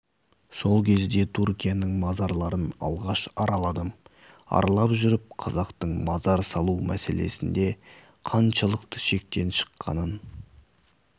сол кезде түркияның мазарларын алғаш араладым аралап жүріп қазақтың мазар салу мәселесінде қаншалықты шектен шыққанын